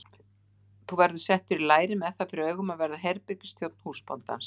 Þú verður settur í læri með það fyrir augum að verða herbergisþjónn húsbóndans.